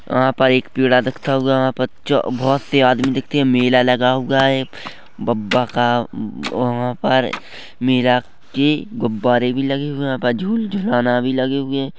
यहाँ पर एक पीड़ा देखता हुआ बच्चा बोहोत से आदमी दिखते मेला लगा हुआ है बप्पा का अ वह पर मेला की गुब्बारे भी लगे हुए है झूल झूलऊना भी लगे हुए हैं ।